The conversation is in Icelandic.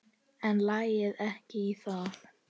En lagði ekki í það.